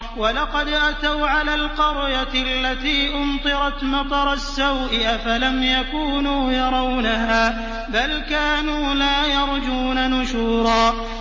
وَلَقَدْ أَتَوْا عَلَى الْقَرْيَةِ الَّتِي أُمْطِرَتْ مَطَرَ السَّوْءِ ۚ أَفَلَمْ يَكُونُوا يَرَوْنَهَا ۚ بَلْ كَانُوا لَا يَرْجُونَ نُشُورًا